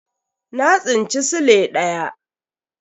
Na tsinci sile daya.